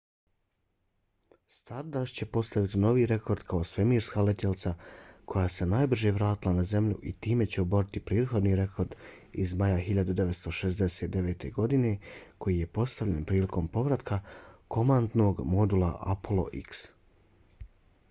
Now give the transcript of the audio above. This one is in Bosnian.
stardust će postaviti novi rekord kao svemirska letjelica koja se najbrže vratila na zemlju i time će oboriti prethodni rekord iz maja 1969. godine koji je postavljen prilikom povratka komandnog modula apollo x